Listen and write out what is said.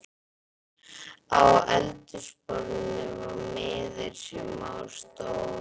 Á eldhúsborðinu var miði, sem á stóð